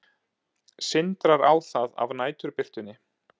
Sindrar á það af næturbirtunni.